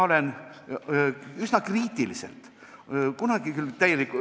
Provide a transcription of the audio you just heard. Juurde kolm minutit.